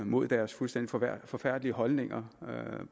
mod deres fuldstændig forfærdelige holdninger